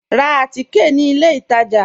Rá àtìké ní ilẹ̀ ìtajá